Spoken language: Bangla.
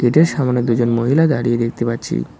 এতে সামনে দুজন মহিলা দাঁড়িয়ে দেখতে পাচ্ছি।